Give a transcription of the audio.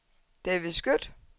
David Skøtt